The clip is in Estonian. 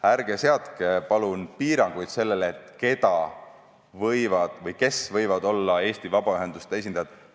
Ärge palun seadke piiranguid, kes võivad olla Eesti vabaühenduste esindajad!